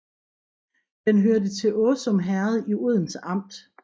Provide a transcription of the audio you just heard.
Det hørte til Åsum Herred i Odense Amt